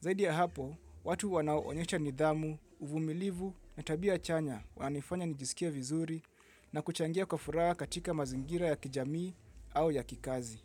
Zaidi ya hapo, watu wanao onyesha nidhamu, uvumilivu na tabia chanya. Wananifanya nijisikie vizuri na kuchangia kwa furaha katika mazingira ya kijamii au ya kikazi.